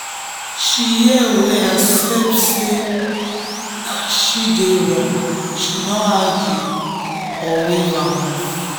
she hear well accept sey na she dey wrong she no argue or wave am off.